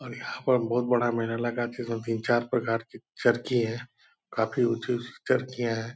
और यहाँ पर बहुत बड़ा मेला लगा जिसमे तीन चार प्रकार की चरखी है काफी ऊंची-ऊंची चरखियाँ हैं।